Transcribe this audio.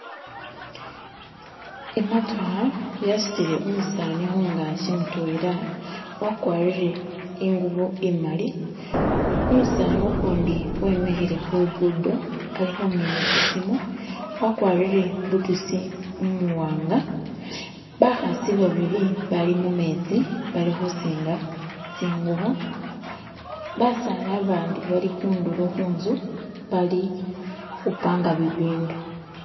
Emotokha yatsutile umusani khungakhi mutwela wakharire enguvo emaali , umutsana ukhundi Wemikhile khulugundo alikhumina etsimu wagwarire bututsi umuwanga, bakhatsi babiri bali mumetsi bilukhusinga zinguvo, batsani abandi bali kunduro kunzu bali kumpanga bibindu